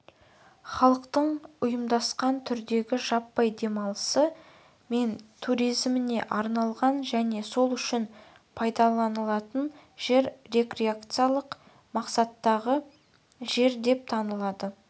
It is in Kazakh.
халықтың ұйымдасқан түрдегі жаппай демалысы мен туризміне арналған және сол үшін пайдаланылатын жер рекреациялық мақсаттағы жер деп танылады